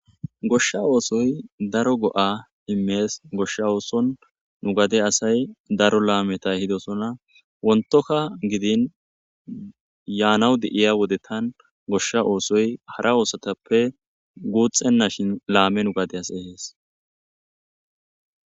goshsha oosoy daro go7a immees goshsha ooson nugade asay daro laameta hidosona wontoka gidin yaanawu de7iya wodettan goshsha oosoy hara oosatappe guuxxenna shin laame nugadeas ehees